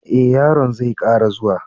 eh, yaron zai Kara zuwa.